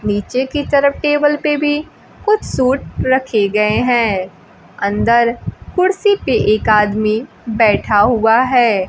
नीचे की तरफ टेबल पे भी कुछ सूट रखे गए हैं अंदर कुर्सी पे एक आदमी बैठा हुआ है।